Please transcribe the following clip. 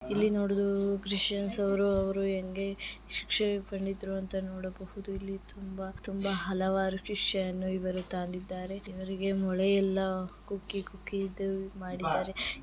ಇಲ್ಲಿ ನೊಡಲು ಕ್ರಿಶ್ಚನ ಅವರ್ರು ಅವರು ಹೆಂಗೆ ಶಿಕ್ಷೆ ನೊಡಬಹುದು ಇಲ್ಲಿ ತುಂಬಾ ತುಂಬಾ ಹಲವರು ಕ್ರಿಶ್ಚನ ಇವರು ಆಗಿದ್ದರೆ ಇವೆರಿಗೆ ಮೊಳೆಯಲ್ಲ ಕುಕ್ಕಿಕುಕ್ಕಿ ಇದು ಮಾಡಿದ್ದಾರೆ .